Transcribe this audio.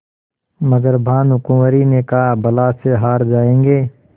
मगर भानकुँवरि ने कहाबला से हार जाऍंगे